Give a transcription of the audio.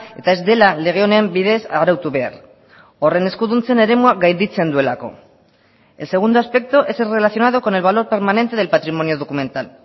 eta ez dela lege honen bidez arautu behar horren eskuduntzen eremua gainditzen duelako el segundo aspecto es el relacionado con el valor permanente del patrimonio documental